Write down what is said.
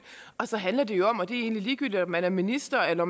og så handler det om og det er egentlig ligegyldigt om man er minister eller